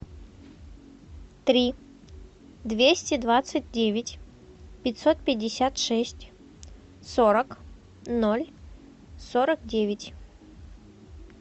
три двести двадцать девять пятьсот пятьдесят шесть сорок ноль сорок девять